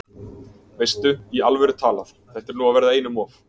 Veistu. í alvöru talað. þetta er nú að verða einum of!